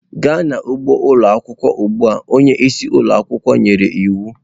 Gaa n'ugbo ụlọ akwụkwọ ugbu a! Onye isi ụlọ akwụkwọ nyere iwu.